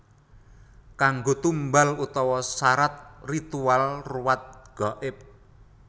Kanggo tumbal utawa sarat ritual ruwat gaib